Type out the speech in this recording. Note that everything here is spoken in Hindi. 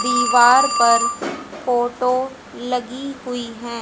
दीवार पर फोटो लगी हुई है।